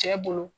Cɛ bolo